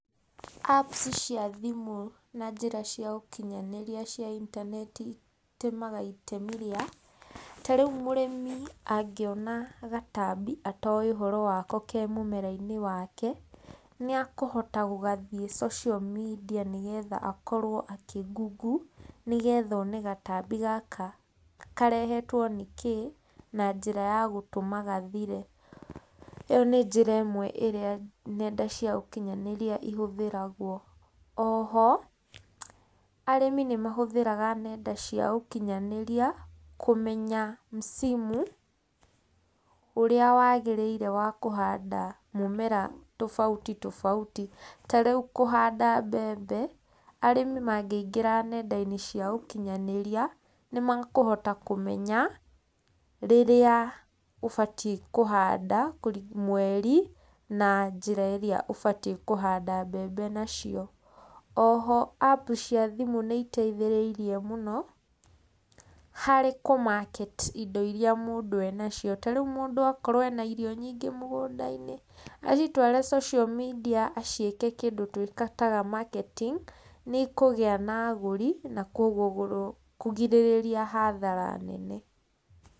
Apps cia thimũ na njĩra cia ũkinyanĩria cia intaneti citemaga itemi rĩa, ta rĩu mũrĩmi angĩona gatambi atoĩ ũhoro wako ke mũmera-inĩ wake, nĩ akũhota gũgathiĩ social media nĩgetha akorwo akĩ google nĩgetha one gatambi gaka karehetwo nĩ kĩĩ, na njĩra ya gũtũma gathire. ĩyo nĩ njĩra ĩmwe ĩrĩa nenda cia ũkinyanĩria ihũthĩragwo. Oho, arĩmi nĩ mahũthĩraga nenda cia ũkinyanĩria kũmenya msimu ũrĩa wagĩrĩire wa kũhanda mũmera tofauti tofauti, ta rĩu kũhanda mbembe, arĩmi mangĩingĩra nenda-inĩ cia ũkinyanĩria, nĩ makũhota kũmenya, rĩrĩa ũbatie kũhanda mweri na njĩra ĩrĩa ũbatie kũhanda mbembe nacio. Oho app cia thimũ nĩ iteithĩrĩirie mũno, harĩ kũ market indo iria mũndũ enacio, ta rĩu mũndũ akorwo ena irio nyingĩ mũgũnda-inĩ, acitware social media aciĩke kĩndũ twĩtaga marketing, nĩ ikũgĩa na agũri na koguo kũgirĩrĩria hathara nene.